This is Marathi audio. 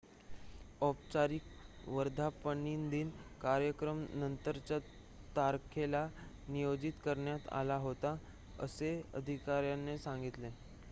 औपचारिक वर्धापनदिन कार्यक्रम नंतरच्या तारखेला नियोजित करण्यात आला होता असे अधिकाऱ्यांनी सांगितले